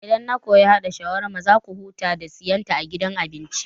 Idan na koyi haɗa shawarma za ku huta da siyan ta a gidan abinci